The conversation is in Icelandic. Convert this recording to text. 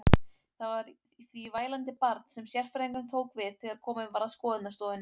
Það var því vælandi barn sem sérfræðingurinn tók við þegar komið var að skoðunarstofunni.